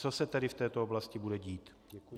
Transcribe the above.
Co se tedy v této oblasti bude dít?